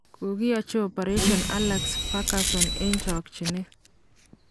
Kokiachi opereshon Alex Furgason eng' chakchinet.